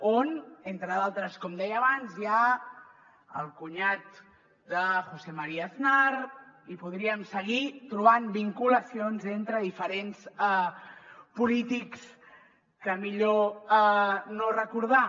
on entre d’altres com deia abans hi ha el cunyat de josé maría aznar i podríem seguir trobant vinculacions entre diferents polítics que és millor no recordar